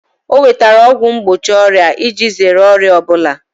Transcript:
O nwetara ọgwụ mgbochi ọrịa iji zere ọrịa ọ bụla